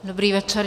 Dobrý večer.